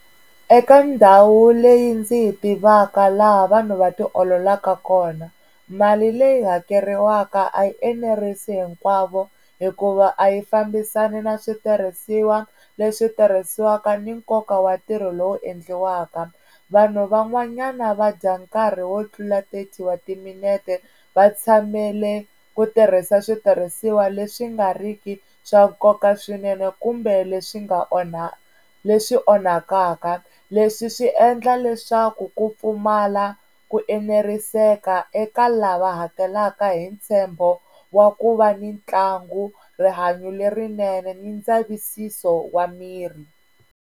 Eka ndhawu leyi ndzi yi tivaka laha vanhu va ti ololaka kona mali leyi hakeriwaka a yi enerisi hinkwavo hikuva a yi fambisani na switirhisiwa leswi tirhisiwaka ni nkoka wa ntirho lowu endliwaka, vanhu van'wanyana va dya nkarhi wo tlula thirty wa timinete va tshamele ku tirhisa switirhisiwa leswi nga riki swa nkoka swinene kumbe leswi nga onha leswi onhakaka leswi swi endla leswaku ku pfumala ku eneriseka eka lava hakelaka hi ntshembo wa ku va ni ntlangu, rihanyo lerinene ni ndzavisiso wa miri.